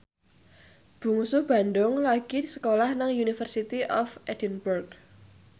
Bungsu Bandung lagi sekolah nang University of Edinburgh